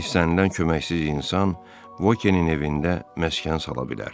İstənilən köməksiz insan Vokinin evində məskən sala bilər.